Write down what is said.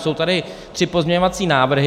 Jsou tady tři pozměňovací návrhy.